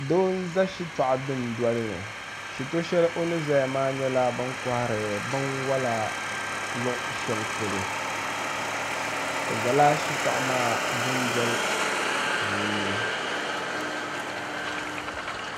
doo n-za shit' dundoli ni shitɔ' shɛli o ni zaya maa nyɛla bi ni kɔhiri binwala luɣushɛli polo o zala shitɔɣu maa dundoli puuni